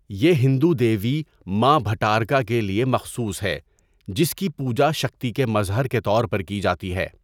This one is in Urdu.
یہ ہندو دیوی ماں بھٹارکا کے لیے مخصوص ہے جس کی پوجا شکتی کے مظہر کے طور پر کی جاتی ہے۔